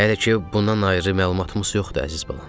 Hələ ki bundan ayrı məlumatımız yoxdur, əziz balam.